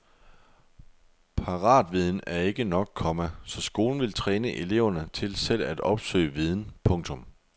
Paratviden er ikke nok, komma så skolen vil træne eleverne til selv at opsøge viden. punktum